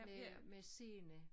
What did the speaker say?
Med med scene